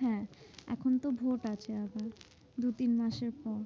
হ্যাঁ, এখন তো ভোট আছে আবার দু তিন মাসের পর।